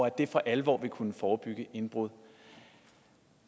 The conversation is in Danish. at det for alvor vil kunne forebygge indbrud